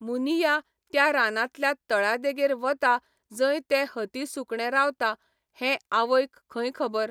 मुनिया त्या रानांतल्या तळ्या देगेर वता जंय तें हती सुकणे रावता हें आवयक खंय खबर.